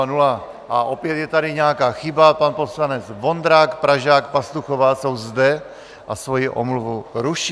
A opět je tady nějaká chyba, pan poslanec Vondrák, Pražák, Pastuchová jsou zde a svoji omluvu ruší.